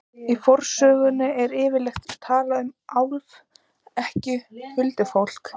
Í fornsögunum er yfirleitt talað um álfa, ekki huldufólk.